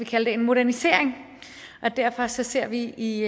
kalde det modernisering og derfor ser vi i